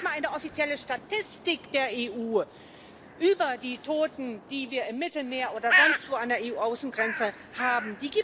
Es gibt noch nicht mal eine offizielle Statistik der EU über die Toten, die wir im Mittelmeer oder sonstwo an den EU Außengrenzen haben.